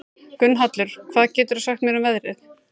Gunnhallur, hvað geturðu sagt mér um veðrið?